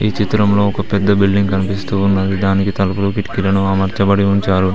చిత్రంలో ఒక పెద్ద బిల్డింగ్ కనిపిస్తూ ఉన్నది దానికి తలుపులు కిటికీలను అమర్చబడి ఉంచారు.